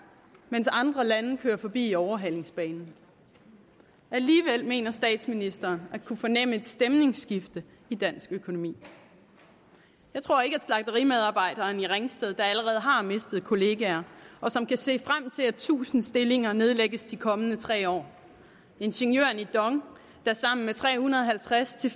mens andre lande kører forbi i overhalingsbanen alligevel mener statsministeren at kunne fornemme et stemningsskifte i dansk økonomi jeg tror ikke at slagterimedarbejderen i ringsted der allerede har mistet kollegaer og som kan se frem til at tusinde stillinger nedlægges i de kommende tre år at ingeniørerne i dong der sammen med tre hundrede og halvtreds til